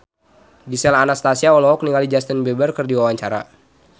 Gisel Anastasia olohok ningali Justin Beiber keur diwawancara